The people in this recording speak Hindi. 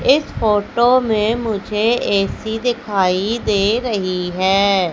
इस फोटो में मुझे ए_सी दिखाई दे रही है।